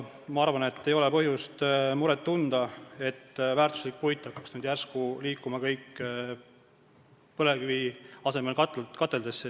Ma arvan, et ei ole põhjust muret tunda, nagu väärtuslik puit hakkaks järsku liikuma põlevkivi asemel kateldesse.